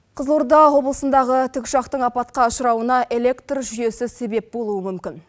қызылорда облысындағы тікұшақтың апатқа ұшырауына электр жүйесі себеп болуы мүмкін